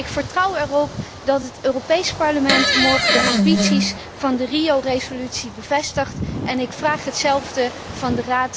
Ik vertrouw erop dat het Europees Parlement morgen de ambities van de Rio resolutie bevestigt en ik vraag hetzelfde van de Raad en de Commissie.